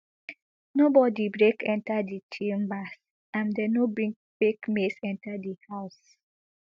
nobody break enta di chambers and dem no bring fake maze enta di house